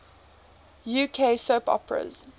uk soap operas